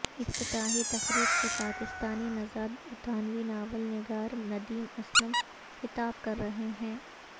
افتتاحی تقریب سے پاکستانی نژاد برطانوی ناول نگار ندیم اسلم خطاب کر رہے ہیں